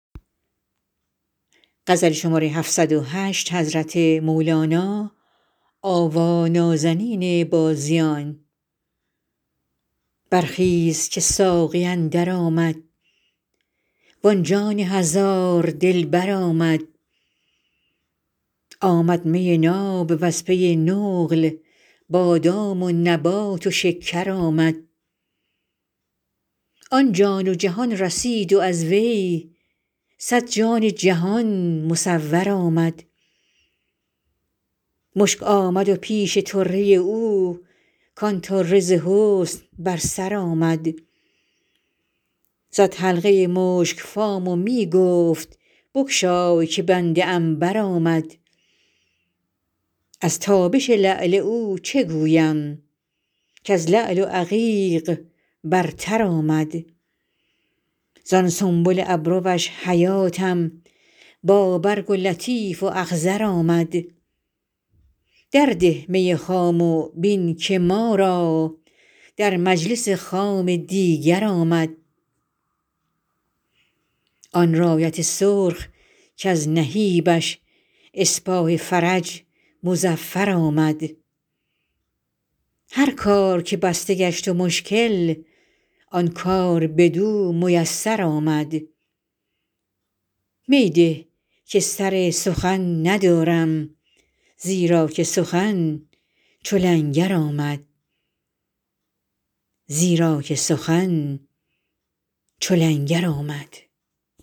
برخیز که ساقی اندر آمد وآن جان هزار دلبر آمد آمد می ناب وز پی نقل بادام و نبات و شکر آمد آن جان و جهان رسید و از وی صد جان جهان مصور آمد مشک آمد پیش طره او کآن طره ز حسن بر سر آمد زد حلقه مشک فام و می گفت بگشای که بنده عنبر آمد از تابش لعل او چه گویم کز لعل و عقیق برتر آمد زان سنبل ابروش حیاتم با برگ و لطیف و اخضر آمد در ده می خام و بین که ما را در مجلس خام دیگر آمد آن رایت سرخ کز نهیبش اسپاه فرج مظفر آمد هر کار که بسته گشت و مشکل آن کار بدو میسر آمد می ده که سر سخن ندارم زیرا که سخن چو لنگر آمد